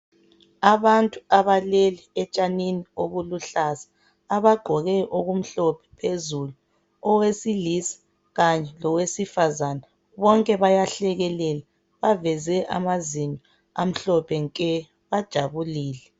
Abantu abelele etshanini obuluhlaza abesilisa kanye labesifazana baveze amazinyo amhlophe nke bonke bajabulile.